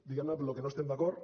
diguem ne amb lo que no estem d’acord